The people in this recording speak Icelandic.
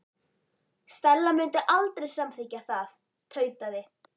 Stella mundi aldrei samþykkja það- tautaði